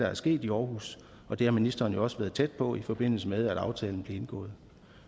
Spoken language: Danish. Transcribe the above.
er sket i aarhus er og det har ministeren jo også været tæt på i forbindelse med at aftalen blev indgået